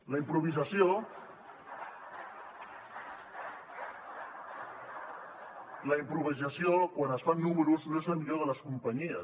la improvisació quan es fan números no és la millor de les companyies